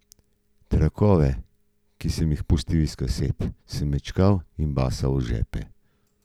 Trakove, ki sem jih pulil iz kaset, sem mečkal in basal v žepe.